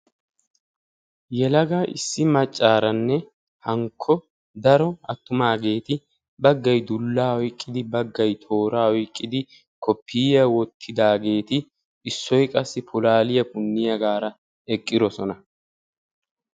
Yelaga issi maccaaranne hankko daro attumaageeti baggay dullaa oyqqidi baaggay tooraa oyqqidi koppiyaa wottidaageeti issoy qassi pulaaliyaa punniyaagaara eqqidosona.